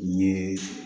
N ye